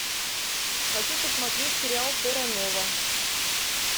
хочу посмотреть сериал терра нова